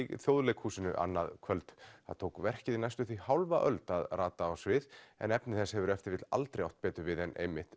Þjóðleikhúsinu annað kvöld það tók verkið næstum því hálfa öld að rata á svið en efni þess hefur ef til vill aldrei átt betur við en